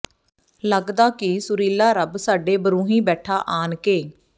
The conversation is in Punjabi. ਲੱਗਦਾ ਕਿ ਸੁਰੀਲਾ ਰੱਬ ਸਾਡੇ ਬਰੂੰਹੀਂ ਬੈਠਾ ਆਣ ਕੇ